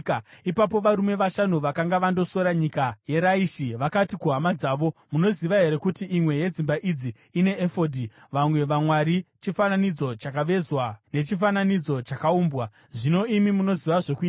Ipapo varume vashanu vakanga vandosora nyika yeRaishi vakati kuhama dzavo, “Munoziva here kuti imwe yedzimba idzi ine efodhi, vamwe vamwari, chifananidzo chakavezwa nechifananidzo chakaumbwa? Zvino imi munoziva zvokuita.”